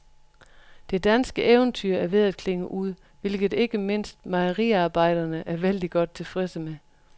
Det danske eventyr er ved at klinge ud, hvilket ikke mindst mejeriarbejderne er vældig godt tilfredse med.